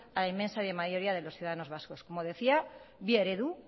a la inmensa mayoría de los ciudadanos vascos como decía bi eredu